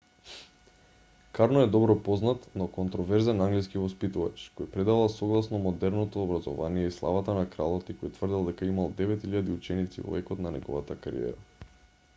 карно е добро познат но контроверзен англиски воспитувач кој предавал согласно модерното образование и славата на кралот и кој тврдел дека имал 9000 ученици во екот на неговата кариера